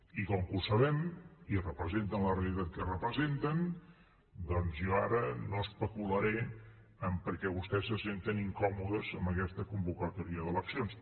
i com que ho sabem i representen la realitat que representen doncs jo ara no especularé en per què vostès se senten incòmodes amb aquesta convocatòria d’eleccions